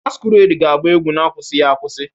Masquerade ga-agba egwu na-akwụsịghị akwụsị